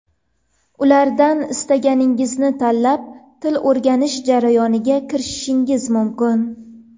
Ulardan istaganingizni tanlab, til o‘rganish jarayoniga kirishishingiz mumkin.